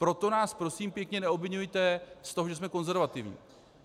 Proto nás prosím pěkně neobviňujte z toho, že jsme konzervativní.